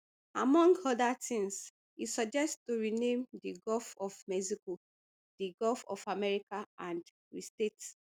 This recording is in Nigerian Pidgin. among oda tins e suggest to rename di gulf of mexico di gulf of america and restate